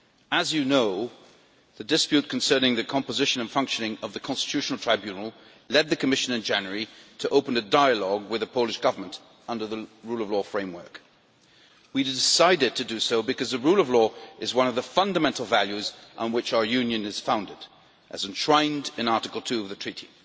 As you know, the dispute concerning the composition and functioning of the Constitutional Tribunal led the Commission in January to open a dialogue with the Polish Government under the rule of law framework. We decided to do so because the rule of law is one of the fundamental values on which our Union is founded, as enshrined in Article 2 of the Treaty.